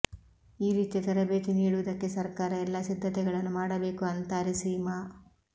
ಈ ರೀತಿಯ ತರಬೇತಿ ನೀಡುವುದಕ್ಕೆ ಸರ್ಕಾರ ಎಲ್ಲ ಸಿದ್ಧತೆಗಳನ್ನು ಮಾಡಬೇಕು ಅಂತಾರೆ ಸೀಮಾ